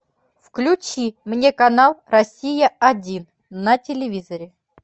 включи мне канал россия один на телевизоре